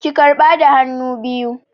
Ki karɓa da hannu biyu!